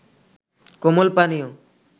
কোমল পানীয়